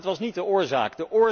Maar dat was niet de oorzaak.